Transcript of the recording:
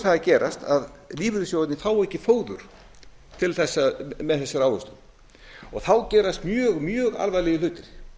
það að gerast að lífeyrissjóðirnir fá ekki fóður með þessari ávöxtun og þá gerast mjög alvarlegir hlutir